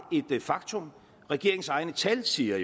et faktum regeringens egne tal siger